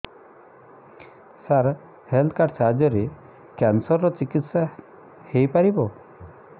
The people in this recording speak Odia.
ସାର ହେଲ୍ଥ କାର୍ଡ ସାହାଯ୍ୟରେ କ୍ୟାନ୍ସର ର ଚିକିତ୍ସା ହେଇପାରିବ